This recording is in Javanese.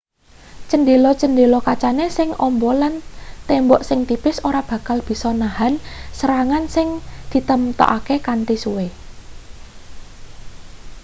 cendhela-chendela kacane sing amba lan tembok sing tipis ora bakal bisa nahen serangan sing ditemtokake kanthi suwe